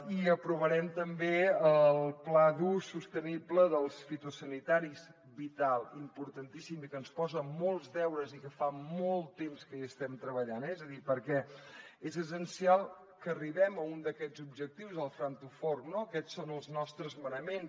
i aprovarem també el pla d’ús sostenible dels fitosanitaris vital importantíssim i que ens posa molts deures i que fa molt temps que hi estem treballant eh és a dir perquè és essencial que arribem a un d’aquests objectius el farm to fork no aquests són els nostres manaments